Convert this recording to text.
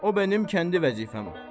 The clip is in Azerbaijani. O mənim kəndi vəzifəm.